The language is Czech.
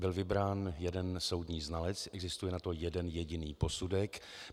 Byl vybrán jeden soudní znalec, existuje na to jeden jediný posudek.